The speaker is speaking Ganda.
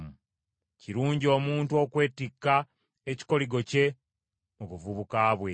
Kirungi omuntu okwetikka ekikoligo kye mu buvubuka bwe.